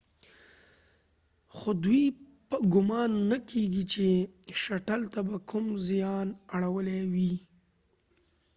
خو دوۍ ګمان نه کیږي چې شټل ته به کوم زیان اړولی وي